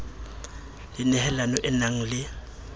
le nehelano e nang le